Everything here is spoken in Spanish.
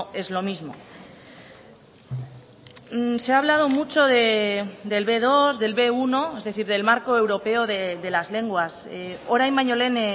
es lo mismo se ha hablado mucho del be dos del be uno es decir del marco europeo de las lenguas orain baino lehen